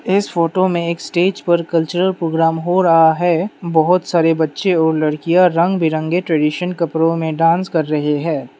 इस फोटो में एक स्टेज पर कल्चरल प्रोग्राम हो रहा है बहुत सारे बच्चे और लड़कियां रंग बिरंगे ट्रेडीशन कपड़ों में डांस कर रहे है।